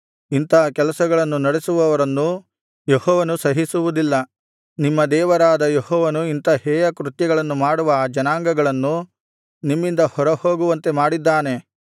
ಇಂಥ ಕೆಲಸಗಳನ್ನು ನಡಿಸುವವರನ್ನು ಯೆಹೋವನು ಸಹಿಸುವುದಿಲ್ಲ ನಿಮ್ಮ ದೇವರಾದ ಯೆಹೋವನು ಇಂಥ ಹೇಯಕೃತ್ಯಗಳನ್ನು ಮಾಡುವ ಆ ಜನಾಂಗಗಳನ್ನು ನಿಮ್ಮಿಂದ ಹೊರ ಹೋಗುವಂತೆ ಮಾಡಿದ್ದಾನೆ